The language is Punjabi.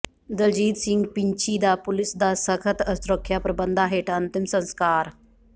ਦਲਜੀਤ ਸਿੰਘ ਪਿੰਛੀ ਦਾ ਪੁਲਿਸ ਦੇ ਸਖ਼ਤ ਸੁਰੱਖਿਆ ਪ੍ਰਬੰਧਾਂ ਹੇਠ ਅੰਤਿਮ ਸੰਸਕਾਰ